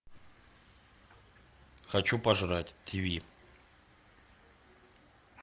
хочу пожрать тв